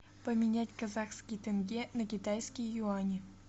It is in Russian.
поменять казахский тенге на китайские юани